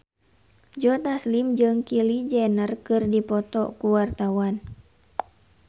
Joe Taslim jeung Kylie Jenner keur dipoto ku wartawan